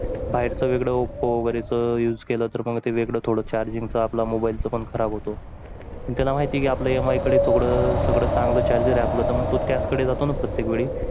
बाहेर चं वेगळं oppo वगैरे चा use केलं तर मग ते वेगळ थोडं charging चा आपला mobile चं खराब होतो. त्याला माहिती आपल्या इकडे थोडं सगळं चांगलं चार जर आहे तर मग त्याच कडे जाताना प्रत्येक वेळी.